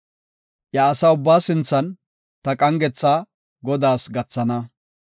Iya asaa ubbaa sinthan ta qangetha Godaas gathana.